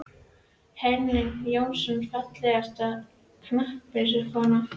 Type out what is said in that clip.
Henning Jónasson Fallegasta knattspyrnukonan?